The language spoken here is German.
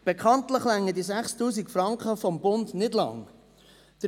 Bekanntlich reichen die 6000 Franken des Bundes nicht lange aus.